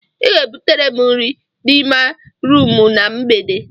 Ị ga-ebutere m nri n'ime rumụ na mgbede.